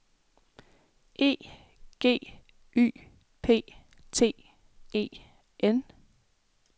E G Y P T E N